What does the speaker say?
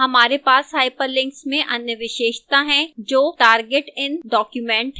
हमारे पास hyperlinks में अन्य विशेषता है जो target in document है